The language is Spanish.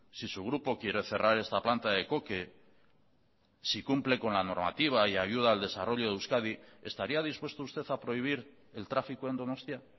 si su grupo quiere cerrar esta planta de coque si cumple con la normativa y ayuda al desarrollo de euskadi estaría dispuesto usted a prohibir el tráfico en donostia